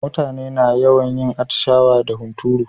Mutane na yawan yin atishawa da hunturu.